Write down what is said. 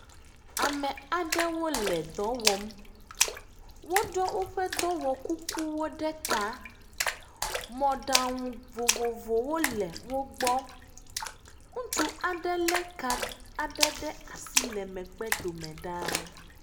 Ame aɖewo le dɔ wɔm. woɖiɔ woƒe dɔwɔkukuwo ɖe ta. Mɔɖaŋu vovovowo le wogbɔ. Ŋutsu aɖe lé ka aɖe asi le megbedome ɖaa.